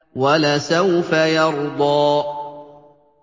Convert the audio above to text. وَلَسَوْفَ يَرْضَىٰ